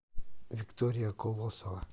виктория колосова